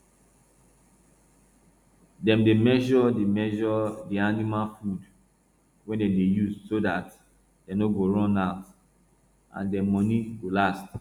dem dey measure di measure di animal food wey dem dey use so dat dem no go run out and dem money go last